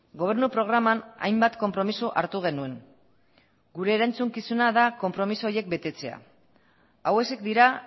gobernu programan hainbat konpromiso hartu genuen gure erantzukizuna da konpromiso horiek betetzea hauexek dira